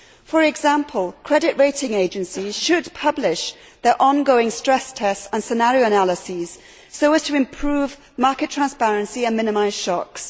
For example, credit rating agencies should publish their ongoing stress tests and scenario analyses so as to improve market transparency and minimise shocks.